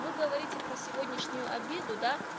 вы говорите про сегодняшнюю обиду да